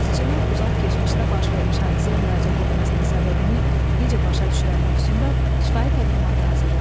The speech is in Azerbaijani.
Yazıçının uzaq keçmişdə baş vermiş hadisəyə müraciət etməsinin səbəbini necə başa düşürəm mövzusunda şifahi təqdimata hazırlaşın.